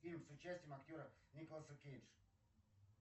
фильм с участием актера николаса кейдж